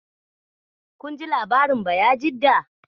Kun ji labarin Bayajidda?